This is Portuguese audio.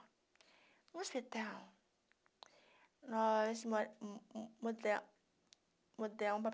No hospital, nós mu muda mudamo